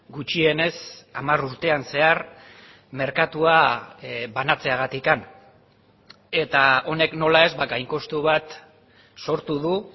gutxienez hamar urtean zehar merkatua banatzeagatik eta honek nola ez gainkostu bat sortu du